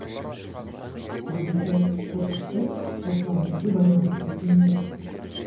біздегі қортықты осылармен де байланыстыру жөн сияқты